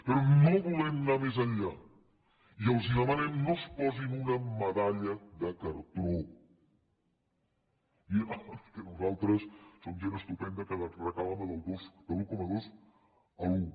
però no volem anar més enllà i els demanem no es posin una medalla de cartró dient oh és que nosaltres som gent estupenda que recaptàvem de un coma dos a l’un